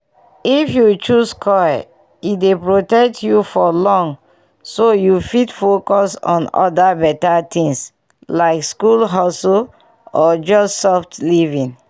if you choose coil e dey protect you for long so you fit focus on other better things like school hustle or just soft living.